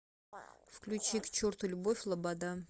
включи к черту любовь лобода